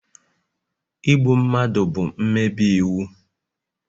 Igbu mmadụ bụ mmebi iwu